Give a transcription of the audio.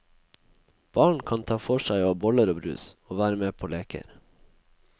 Barn kan ta for seg av boller og brus, og være med på leker.